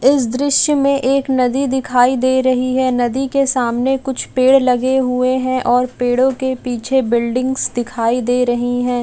इस दृश्य मे एक नदी दिखाई दे रही है नदी के सामने कुछ पेड़ लगे हुए है और पेड़ों के पीछे बिल्डिंग्स दिखाई दे रही है।